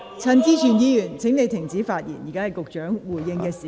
陳志全議員，請停止發言，現在是局長回應的時間。